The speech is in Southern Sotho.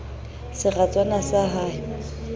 seratswana sa d ha e